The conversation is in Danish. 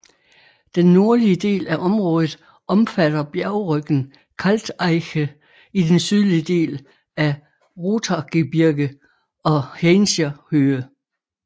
Den nordlige del af området omfatter bjergryggen Kalteiche i den sydlige del af Rothaargebirge og Haincher Höhe